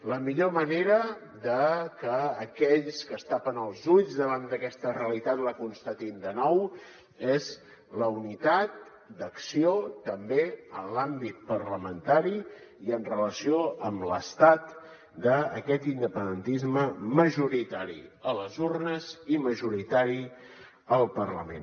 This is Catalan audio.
la millor manera de que aquells que es tapen els ulls davant d’aquesta realitat la constatin de nou és la unitat d’acció també en l’àmbit parlamentari i en relació amb l’estat d’aquest independentisme majoritari a les urnes i majoritari al parlament